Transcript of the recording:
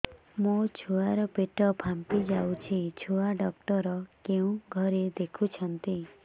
ମୋ ଛୁଆ ର ପେଟ ଫାମ୍ପି ଯାଉଛି ଛୁଆ ଡକ୍ଟର କେଉଁ ଘରେ ଦେଖୁ ଛନ୍ତି